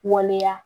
Waleya